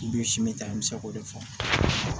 I bi simi ta an bɛ se k'o de fɔ